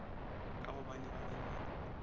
ka gobane ba be ba